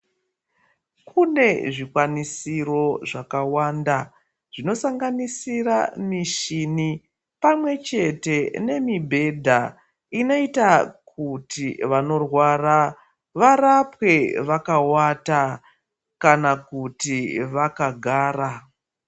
Kune zvikwanisiro zvakawanda , zvinosanganisira mishini, pamwe chete nemibhedha inoita kuti vanorwara, varapwe vakawata kana kuti vakagara.